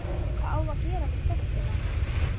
Hvað á að gera við stelpuna?